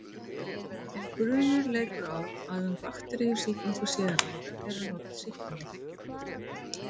Ef grunur leikur á að um bakteríusýkingu sé að ræða eru notuð sýklalyf.